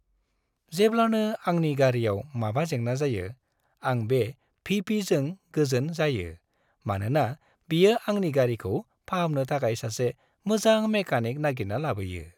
जेब्लानो आंनि गारिआव माबा जेंना जायो, आं बे भि.पि.जों गोजोन जायो, मानोना बियो आंनि गारिखौ फाहामनो थाखाय सासे मोजां मेकानिक नागिरना लाबोयो।